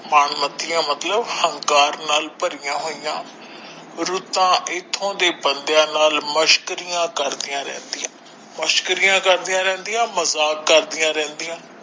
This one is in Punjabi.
ਮਾਣ ਮਤੀਆਂ ਮਨ ਮਤੀਆਂ ਮਤਲਬ ਅਹੰਕਾਰ ਨਾਲ ਭਰਿਆ ਹੋਇਆ ਰੁੱਤਾਂ ਇੱਥੋਂ ਦੇ ਬੰਦਿਆਂ ਨਾਲ ਮਸ਼ਕਰੀਆਂ ਕਰਦਿਆਂ ਰਹਿੰਦੀਆਂ ਮਸ਼ਕਰੀਆਂ ਕਰਦਿਆਂ ਰਹਿੰਦੀਆਂ ਮਜਾਕ ਕਰਦਿਆਂ ਰਹਿੰਦੀਆਂ।